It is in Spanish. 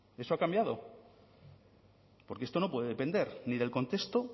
eso ha cambiado porque esto no puede depender ni del contexto